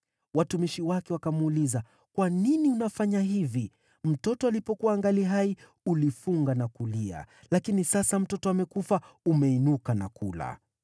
Watumishi wake wakamuuliza, “Kwa nini unafanya hivi? Mtoto alipokuwa angali hai, ulifunga na kulia; lakini sasa mtoto amekufa, umeinuka na kula.”